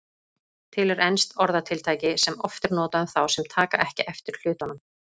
Til er enskt orðatiltæki sem oft er notað um þá sem taka ekki eftir hlutunum.